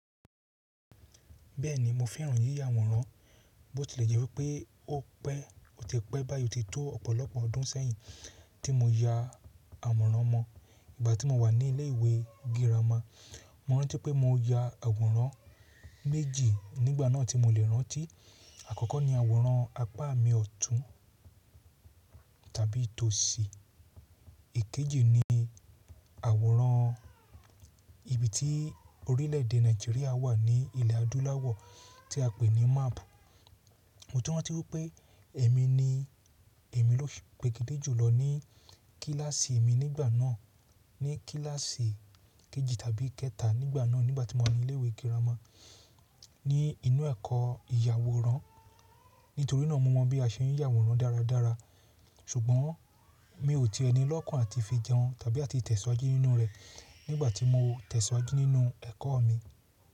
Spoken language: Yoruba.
Bẹ́ẹ̀ni mo fẹ́ràn yíya àwòrán, bó ti lè jẹ́ wí pé ó pẹ́ ó ti pẹ́ báyìí ó ti tó ọ̀pọ̀lọpọ̀ ọdún sẹ́yìn tí mo ya àwòrán mọ, ìgbà tí mo wà ní ilé ìwé girama. Mo rántí pé mo ya àwòrán méjì nígbà náà tí mo lè rántí. Àkọ́kọ́ ni àwòrán apá mi ọ̀tún tàbí tòsì. Èkejì ni àwòrán ibi tí orílẹ̀èdè Nàìjíríà wà ní ilẹ̀ adúláwọ̀ tí a pè ní map. Mo tún rántí wípé èmi ni èmi ló peregedé jùlọ ní kíláàsì mi nígbà náà, ní kíláàsì kejì tàbí kẹta nígbà náà nígbà tí mo wà ní ilé ìwé girama ní inú ẹ̀kọ́ ìyàwòrán. Nítorí náà mo mọ bí a ṣe ń yà àwòrán dáradára ṣùgbọ́n mi ò tí ẹni lọ́kàn àti fi jẹun tàbí àti tẹ̀síwájú nínú rẹ̀ nígbà tí mo tẹ̀síwájú nínú ẹ̀kọ́ mi.